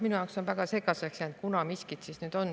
Minule on jäänud väga segaseks, millal siis miski on.